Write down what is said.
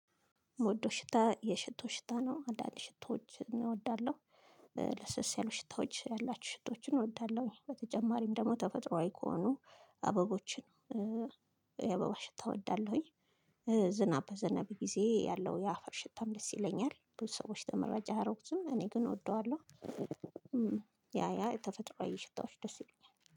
ምወደው ሽታ የሽቶ ሽታ ነው አንዳንድ ሽቶዎችን እወዳለሁ። ለስለስ ያሉ ሽታዎች ያላችሁ ሽቶዎችን እወዳለሁኝ። በተጨማሪም ደግሞ ተፈጥሮአዊ ከሆኑ አበቦችን የአበባ ሽታ እወዳለሁኝ። ዝናብ በዝናብ ጊዜ ያለው የአፈር ሽታም ደስ ይለኛል ብዙ ሰዎች ተመራጭ አያረጉትም እኔ ግን እወደዋለሁ። ያ ያ የተፈጥሯዊ ሽታዎች ደስ ይለኛል